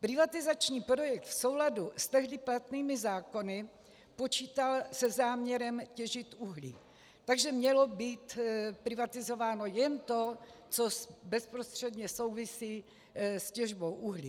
Privatizační projekt v souladu s tehdy platnými zákony počítal se záměrem těžit uhlí, takže mělo být privatizováno jen to, co bezprostředně souvisí s těžbou uhlí.